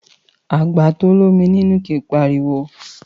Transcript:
Àgbà to l'ómi nínú kìí pariwo